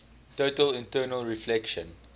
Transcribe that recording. total internal reflection